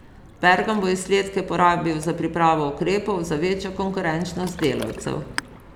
Pergam bo izsledke porabil za pripravo ukrepov za večjo konkurenčnost delavcev.